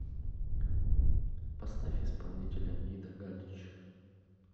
поставь исполнителя ида галич